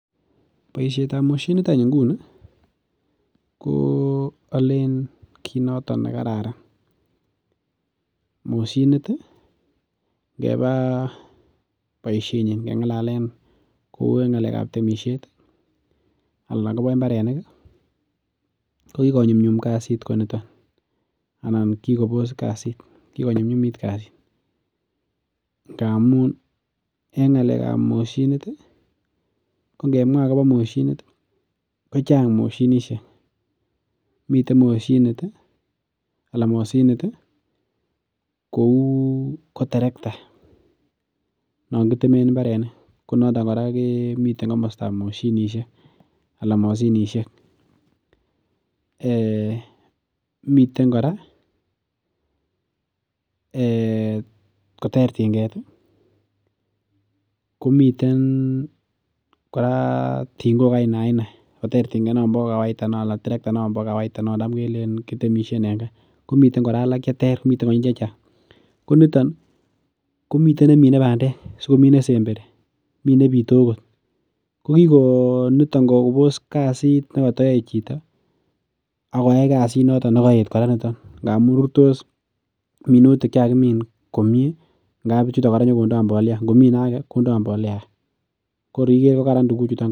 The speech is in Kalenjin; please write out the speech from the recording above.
Boisietab moshinit any inguni alen kit noton nekararan, moshinit ih ngeba boisiet nyin ingele keng'alen temisietab imbarenik ih ko ki konyumnyum kasit kot nito. anan kikobos kasit anan kikonyumnyumit kasit. Ngamuun en ng'alekab moshinit ih, kongemwa akobo moshinit ih kochang moshinisiek miten moshinit ih anan moshinit kouu koterekta. Nongitemen imbarenik ko noto miten kora nebo bek , konaton kora ko miten komosotab moshinisiek. Um miten kora ih um koter ting'et ih komiten kora ting'ok aina aina koter ting'et nombo kawaida noon taam kelleen kitemishien en ka. Ko miten kora alak cheter miten konyil chechang. Ko niton komiten nemine bandek , asikomi ne semberi , ko niton kikobos kasit nekatayoe chito ih akoyai kasit noton nemaet kora ngamuun rurtos komie ndamuun mi nenyolondaa mbolea kor ikere kararan imbar.